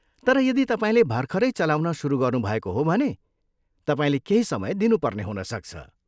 तर यदि तपाईँले भर्खरै चलाउन सुरु गर्नुभएको हो भने, तपाईँले केही समय दिनुपर्ने हुनसक्छ।